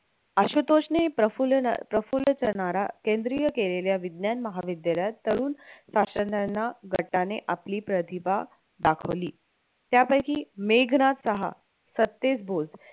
आशुतोष ने प्रफुल्ल प्रफुल्ल चा नारा केंद्रीय केलेल्या विज्ञान महाविद्यालयात तरुण शास्त्रज्ञाना गटाने आपली प्रतिभा दाखवली त्यापैकी मेघना शहा, सत्तेज भोज